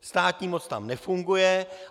Státní moc tam nefunguje.